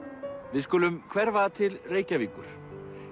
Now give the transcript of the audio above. við skulum hverfa til Reykjavíkur